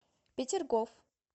петергоф